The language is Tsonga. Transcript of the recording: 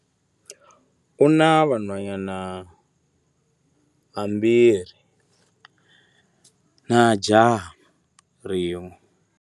U na vanhwanyana vambirhi na jaha rin'we.